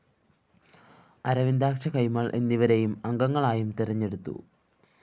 അരവിന്ദാക്ഷകൈമള്‍ എന്നിവരെ അംഗങ്ങളായും തെരഞ്ഞെടുത്തു